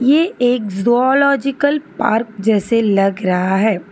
ये एक zoological park जैसे लग रहा है।